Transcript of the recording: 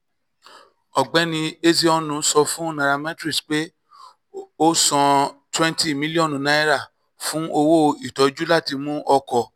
ọ̀gbẹ́ni ezeonu sọ fún nairametrics pé ó san twenty mílíọ̀nù naira fún owó ìtọ́jú láti mú ọkọ̀